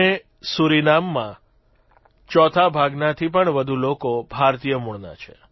અને સુરિનામમાં ચોથા ભાગનાથી પણ વધુ લોકો ભારતીય મૂળના છે